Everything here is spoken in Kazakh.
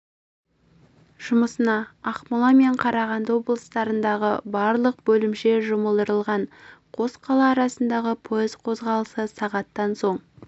жұмысына ақмола мен қарағанды облыстарындағы барлық бөлімше жұмылдырылған қос қала арасындағы пойыз қозғалысы сағаттан соң